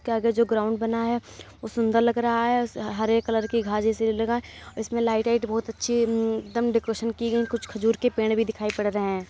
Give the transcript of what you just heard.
इसके आगे जो ग्राउंड बना है वो सुन्दर लग रहा है हरे कलर की घास जैसी लगा है इसमें लाइट आईट बहुत अच्छी एक दम डेकोरेशन की गयी हैं कुछ खजूर के पेड़ भी दिखाई पड़ रहे है।